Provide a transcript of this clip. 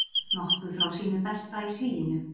Nokkuð frá sínu besta í sviginu